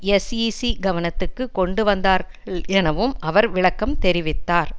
SEC கவனத்துக்கு கொண்டு வந்தார்களெனவும் அவர் விளக்கம் தெரிவித்தார்